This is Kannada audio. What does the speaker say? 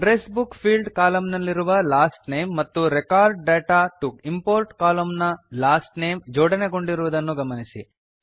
ಅಡ್ರೆಸ್ ಬುಕ್ ಫೀಲ್ಡ್ಸ್ ಕಾಲಮ್ ನಲ್ಲಿರುವ ಲಾಸ್ಟ್ ನೇಮ್ ಮತ್ತು record data to import column ನ ಲಾಸ್ಟ್ ನೇಮ್ ಜೋಡಣೆಗೊಂಡಿರುವುದನ್ನು ಗಮನಿಸಿ